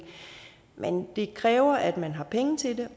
men det kræver at man har penge til